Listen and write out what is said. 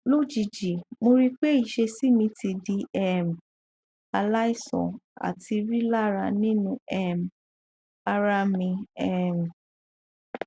lojiji mo ri pe iṣesi mi ti di um alaisan ati rilara ninu um ara mi um